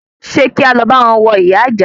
Ṣe kí álọ báwọn wọ ìyá ìjà?